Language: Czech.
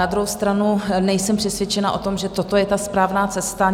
Na druhou stranu nejsem přesvědčena o tom, že toto je ta správná cesta.